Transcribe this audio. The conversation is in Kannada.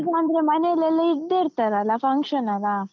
ಈಗಾಂದ್ರೆ ಮನೇಲೆಲ್ಲ ಇದ್ದೇ ಇರ್ತೇವಲ್ಲ, function ಅಲ್ಲಾ?